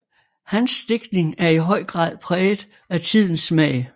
Hans digtning er i høj grad præget af tidens smag